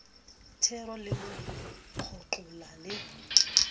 thero le mo kgoqola le